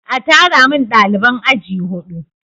A tara min ɗaliban aji huɗu!